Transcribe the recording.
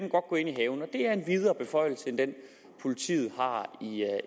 i er en videre beføjelse end den politiet har